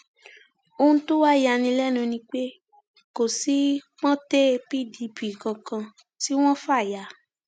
ohun tó wàá yà ní lẹnu ni pé kò sí pọńté pdp kankan tí wọn fà ya